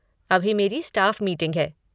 अभी मेरी staff meeting है।